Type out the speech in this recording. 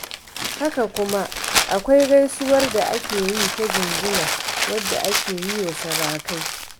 Haka kuma akwai gaisuwar da ake yi ta jinjina, wadda ake yi wa sarakai.